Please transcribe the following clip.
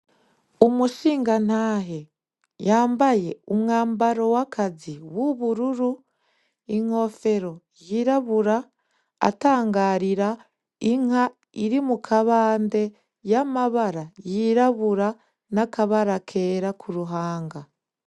Umushingantahe yambaye umwambaro w'akazi w'ubururu, inkofero y'irabura atangarira Inka iri mukabande y'amabara y'irabura, n'akabara kera k'uruhanga.